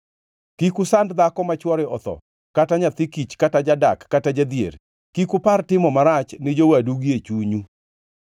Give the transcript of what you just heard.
Kik usand dhako ma chwore otho kata nyathi kich, kata jadak, kata jadhier. Kik upar timo marach ni jowadu gie chunyu.’